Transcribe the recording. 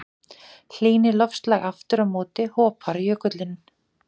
Hlýni loftslag aftur á móti hopar jökullinn.